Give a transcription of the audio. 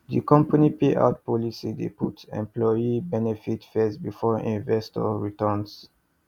di company payout policy dey put employee benefits first before investor returns